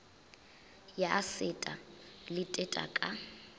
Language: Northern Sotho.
ya seta le teta ka